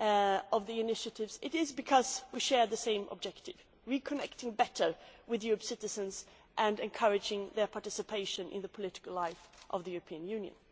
of the initiatives, it is because we share the same objective reconnecting better with Europe's citizens and encouraging their participation in the political life of the